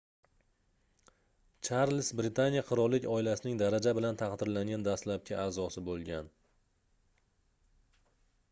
charlz britaniya qirollik oilasining daraja bilan taqdirlangan dastlabki aʼzosi boʻlgan